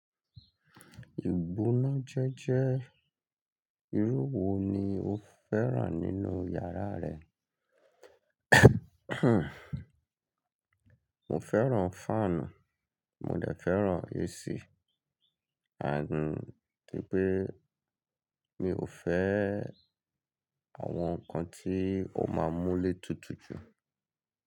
Ìbóná jẹ́jẹ́, irú wo ni o fẹ́ràn nínú yàrá rẹ? Mo feran faanu, mo de feran AC and toripe mio fe àwọn ǹkan tí ó máa mú ilé tutù jù.